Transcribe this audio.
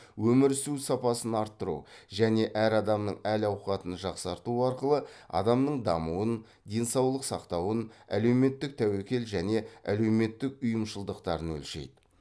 өмір сүру сапасын арттыру және әр адамның әл ауқатын жақсарту арқылы адамның дамуын денсаулық сақтауын әлеуметтік тәуекел және әлеуметтік ұйымшылдықтарын өлшейді